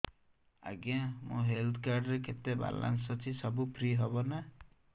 ଆଜ୍ଞା ମୋ health card ରେ କେତେ ବାଲାନ୍ସ ଅଛି ସବୁ ଫ୍ରି ହବ ନାଁ